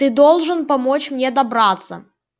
ты должен помочь мне добраться